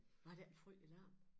Var der ikke en frygtelig larm?